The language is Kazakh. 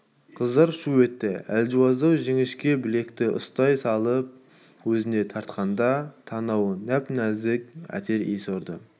қыздар шу етті әлжуаздау жіңішке білекті ұстай салып өзіне тартқанда танауына нәп-нәзік әтір иісі ұрды